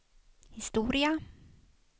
historia